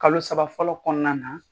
Kalo saba fɔlɔ kɔnɔna na